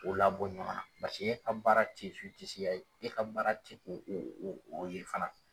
O labɔ ɲɔgɔn na paseke e ka baara te zitisiya ye e ka baara te o o o ye fana